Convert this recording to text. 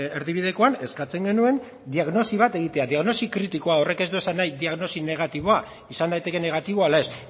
erdibidekoan eskatzen genuen diagnosi bat egitea diagnosi kritikoa horrek ez du esan nahi diagnosi negatiboa izan daiteke negatiboa ala ez